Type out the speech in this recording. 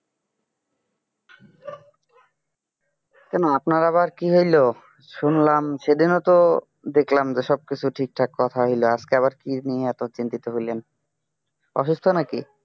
কেন আপনার আবার কি হলো শুনলাম সেদিনও তো দেখলাম তো সবকিছু ঠিকঠাক কথা হলো আজকে আবার কি নিয়ে এত চিন্তিত হলেন অসুস্থ নাকি?